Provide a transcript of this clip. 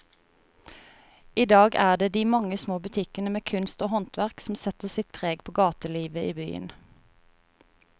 I dag er det de mange små butikkene med kunst og håndverk som setter sitt preg på gatelivet i byen.